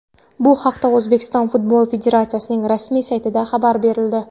Bu haqda O‘zbekiston Futbol Federatsiyasining rasmiy saytida xabar berildi .